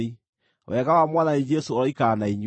Wega wa Mwathani Jesũ ũroikara na inyuĩ.